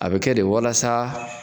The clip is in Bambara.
A be kɛ de walasa